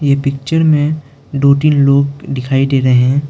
यह पिक्चर में दो तीन लोग दिखाई दे रहे हैं।